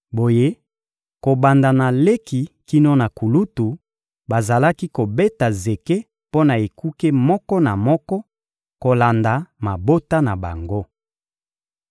Boye kobanda na leki kino na kulutu, bazalaki kobeta zeke mpo na ekuke moko na moko, kolanda mabota na bango.